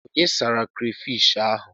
Onye sara krafish ahụ?